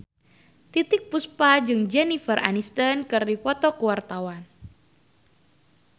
Titiek Puspa jeung Jennifer Aniston keur dipoto ku wartawan